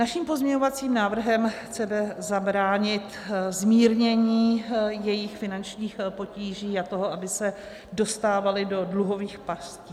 Naším pozměňovacím návrhem chceme zabránit (?) zmírnění jejich finančních potíží a toho, aby se dostávali do dluhových pastí.